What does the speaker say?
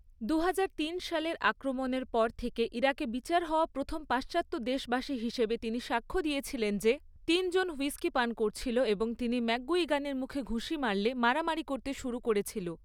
দুহাজার তিন সালের আক্রমণের পর থেকে ইরাকে বিচার হওয়া প্রথম পাশ্চাত্যদেশবাসী হিসেবে তিনি সাক্ষ্য দিয়েছিলেন যে, তিনজন হুইস্কি পান করছিল এবং তিনি ম্যাকগুইগানের মুখে ঘুঁষি মারলে, মারামারি করতে শুরু করেছিল।